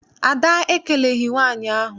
Ada ekeleghi nwaanyị ahụ.